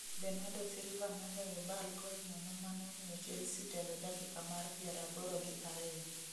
Bernado Silva noloyo bal gol nono manomiyo Chelsea telo dakika mar 82